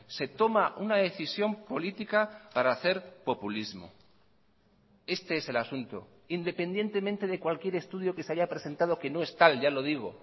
se toma una decisión política para hacer populismo este es el asunto independientemente de cualquier estudio que se haya presentado que no es tal ya lo digo